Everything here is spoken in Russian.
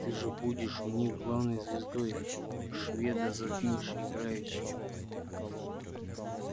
ты же будешь у них главной звездой шведа затмишь играючи